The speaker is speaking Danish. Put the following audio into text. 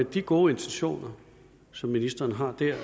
de gode intentioner som ministeren har